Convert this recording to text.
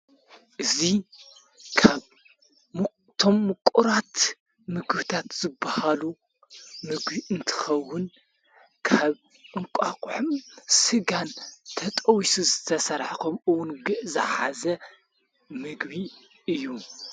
እዙ ካብቶም ምቁራት ምግብታት ዘብሃሉ ምግቢ እንትኸውን ካብ እንቋቑሕን ሥጋን ተጠቢሱ ዝተሠራሐ ኾምእውን ዝሓዘ ምግቢ እዩ።